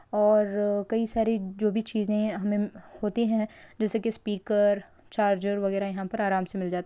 और कई सारी जो भी चीजें हमें होती है जैसे के स्पीकर चार्जर वगेरा यहा पे आराम से मिल जाता है।